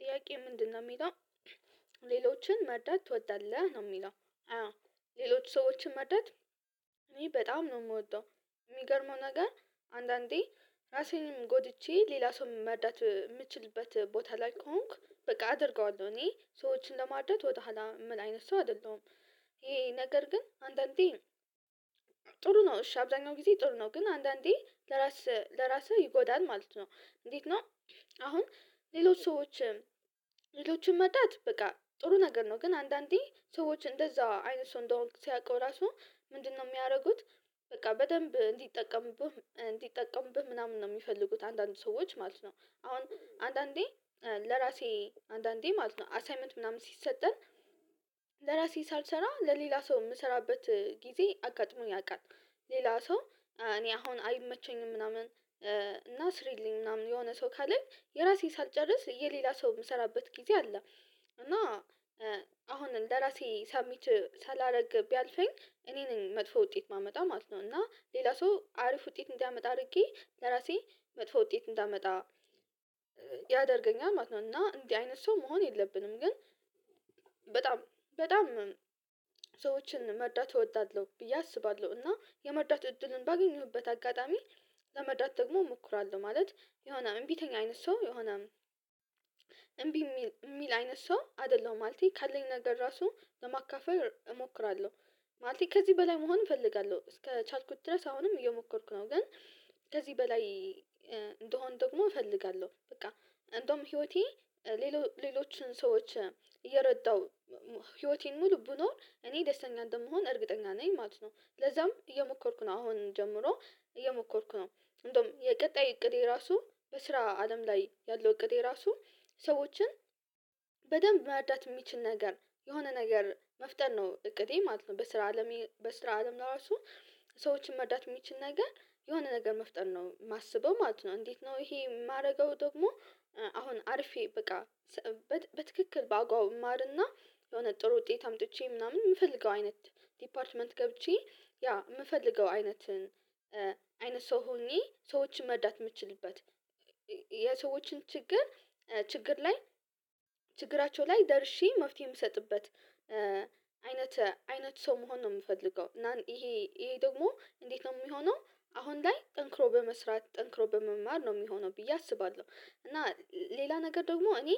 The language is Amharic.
ጥያቄ ምንድነው የሚለው ሌሎችን መርዳት ትወዳለህ ነው የሚለው ሌሎች ሰዎችን መርዳት? እኔ በጣም ነው የምወደው የሚገርመው ነገር አንዳንዴ ራሴንም ጎድቼ ሌላ ሰው መርዳት የምችልበት ቦታ ላይ ከሆንኩ በቃ አደርገዋለሁ እኔ ሰዎችን ለማርዳት ወደሁዋላ ምል አይነት ሰው አይደለሁም። ይሄ ነገር ግን አንዳንዴ ጥሩ ነው እሺ አብዛኛው ጊዜ ጥሩ ነው ግን አንዳንዴ ለራስህ ለራስህ ይጎዳል ማለት ነው። እንዴት ነው? አሁን ሌሎች ሰዎችም ሌሎችም መጣት በቃ ጥሩ ነገር ነው ግን አንዳንዴ ሰዎች እንደዛ አይነት ሰው እንደሆንክ ሲያውቀው ራሱ ምንድነው የሚያደርጉት? በቃ በደንብ እንዲጠቀምብህ እንዲጠቀምብህ ምናምን ነው የሚፈልጉት አንዳንድ ሰዎች ማለት ነው። አሁን አንዳንዴ ለራሴ አንዳንዴ ማለት ነው አሳይመንት ምናምን ሲሰጠን ለራሴ ሳልሰራ ለሌላ ሰው የምሰራበት ጊዜ አጋጥሞኝ ያውቃል። ሌላ ሰው እኔ አሁን አይመቸኝም ምናምን። እና ስሪልኝ ምናምን የሆነ ሰው ካለኝ የራሴን ሳልጨርስ የሌላ ሰው የምሰራበት ጊዜ አለ። እና አሁን ለራሴ ሰሚት ሳላደርግ ቢያልፈኝ እኔ ነኝ መጥፎ ውጤት ማመጣው ማለት ነው። እና ሌላ ሰው አሪፍ ውጤት እንዲያመጣ አድርጌ ለራሴ መጥፎ ውጤት እንዳመጣ ያደርገኛል ማለት ነው። እና እንዲህ አይነት ሰው መሆን የለብንም። ግን በጣም በጣም ሰዎችን መርዳት እወዳለሁ ብዬ አስባለሁ እና የመርዳት እድልን ባገኘሁበት አጋጣሚ ለመርዳት ደግሞ ሞክራለሁ። ማለት የሆነ እምቢተኛ አይነት ሰው የሆነ እምቢ የሚል የሚል አይነት ሰው አይደለሁም። ማለቴ ካለኝ ነገር ራሱ ለማካፈል እሞክራለሁ። ማለቴ ከዚህ በላይ መሆን እፈልጋለሁ እስከቻልኩት ድረስ አሁንም እየሞከርኩ ነው። ግን ከዚህ በላይ እንደሆን ደግሞ እፈልጋለሁ። በቃ እንደውም ህይወቴ ሌሎችን ሰዎች እየረዳው ህይወቴን ሙሉ ብኖር እኔ ደስተኛ እንደምሆን እርግጠኛ ነኝ ማለት ነው። ለዛም እየሞከርኩ ነው አሁን ጀምሮ እየሞከርኩ ነው። እንደውም የቀጣይ እቅዴ ራሱ በስራ አለም ላይ ያለው እቅዴ ራሱ ሰዎችን በደንብ መርዳት የሚችል ነገር የሆነ ነገር መፍጠር ነው እቅዴ ማለት ነው። በስራ አለም በስራ አለም ለራሱ ሰዎችን መርዳት የሚችል ነገር የሆነ ነገር መፍጠር ነው የማስበው ማለት ነው። እንዴት ነው? ይሄ የማደርገው ደግሞ? አሁን አርፌ በቃ በትክክል በአጓው ማርና የሆነ ጥሩ ውጤት አምጥቼ ምናምን የምፈልገው አይነት ዲፓርትመንት ገብቼ ያ የምፈልገው አይነትን አይነት ሰው ሆኜ ሰዎችን መርዳት የምችልበት የሰዎችን ችግር ችግር ላይ ችግራቸው ላይ ደርሼ መፍትሄ የምሰጥበት አይነት አይነት ሰው መሆን ነው። የምፈልገው እና ይሄ ይሄ ደግሞ እንዴት ነው የሚሆነው? አሁን ላይ ጠንክሮ በመስራት ጠንክሮ በመማር ነው የሚሆነው ብዬ አስባለሁ። እና ሌላ ነገር ደግሞ እኔ